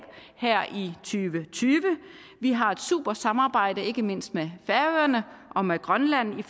her og tyve vi har et super samarbejde ikke mindst med færøerne og med grønland